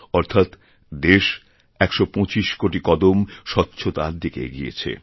অর্থাৎ দেশ ১২৫ কোটি কদম স্বচ্ছতারদিকে এগিয়েছে